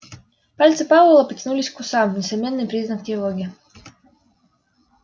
пальцы пауэлла потянулись к усам несомненный признак тревоги